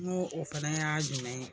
Nu o fana y'a jumɛn ye.